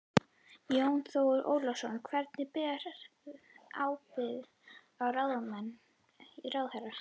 Jón Þór Ólafsson: Hver ber ábyrgð sem ráðherra?